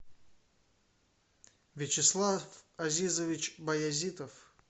вячеслав азизович баязитов